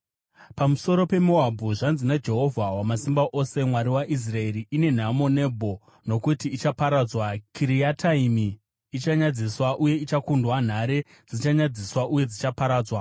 Pamusoro peMoabhu: Zvanzi naJehovha Wamasimba Ose, Mwari waIsraeri: “Ine nhamo Nebho, nokuti ichaparadzwa. Kiriataimi ichanyadziswa uye ichakundwa; nhare dzichanyadziswa uye dzichaparadzwa.